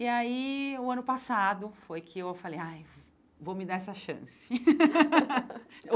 E aí, no ano passado, foi que eu falei, ai vou me dar essa chance.